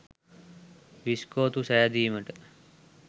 විස්කෝතු සෑදීමට